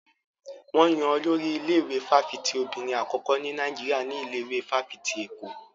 Wọn yan Olórí ilé-ìwé fáfitì obìnrin àkọ́kọ́ ní Nàìjíríà ní ilé ìwé fáfitì Èkó.